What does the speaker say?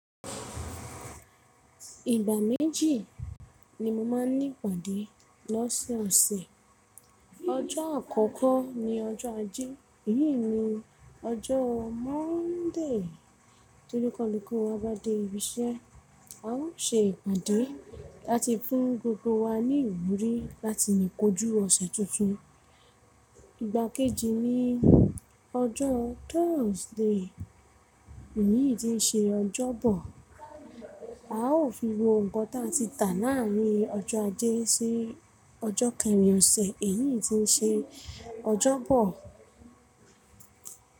Ìgbà méjì ni mo máa ń ní ìpàdé lọ́sẹ̀ ọ̀sẹ̀. Ọjọ́ àkọ́kọ́ ni ọjọ́ Ajé, èyí ni ọjọ́ Monday. Tí oníkálukú wa bá dé ibi iṣẹ́, a ó ṣe ìpàdé láti fún gbogbo wa ní ìwúrí láti lè kojú ọ̀sẹ̀ tuntun. Ìgbà kejì ni ọjọ́ Thursday, èyí tí ń ṣe ọjọ́ bọ̀. A ó fi wo ǹkan tí a ti tà láàárin ọjọ́ Ajé sí ọjọ́ kẹrin ọ̀sẹ̀ èyí tí ń ṣe ọjọ́ bọ̀.